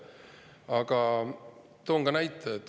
Aga toon ka näite.